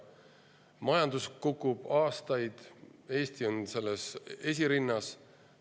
Majandus on kukkunud aastaid ja Eesti on selles esirinnas.